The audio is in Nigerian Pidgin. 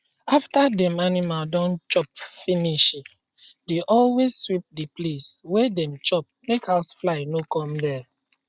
after dem animal don chop finishi dey always sweep the place wey dem chop make house fly no come there